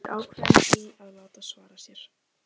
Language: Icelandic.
Er ákveðin í að láta svara sér.